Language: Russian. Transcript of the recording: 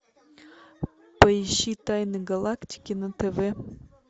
поищи тайны галактики на тв